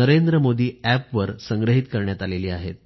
NarendraModiApp वर संग्रहित करण्यात आली आहेत